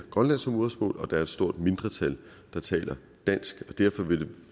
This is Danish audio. grønlandsk som modersmål og der er et stort mindretal der taler dansk og derfor vil det